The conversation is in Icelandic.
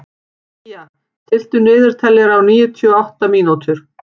Día, stilltu niðurteljara á níutíu og átta mínútur.